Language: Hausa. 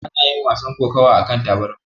Ana yin wasan kokawa akan tabarma.